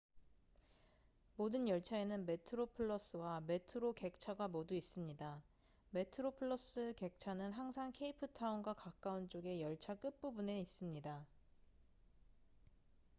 모든 열차에는 metroplus와 metro 객차가 모두 있습니다 metroplus 객차는 항상 케이프타운과 가까운 쪽의 열차 끝부분에 있습니다